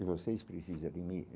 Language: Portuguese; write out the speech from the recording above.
e vocês precisa de mim.